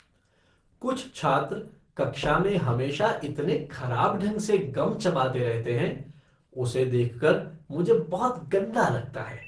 कुछ छात्र कक्षा में हमेशा इतने खराब ढंग से गम चबाते रहते हैं, उसे देख कर मुझे बहुत गंदा लगता है।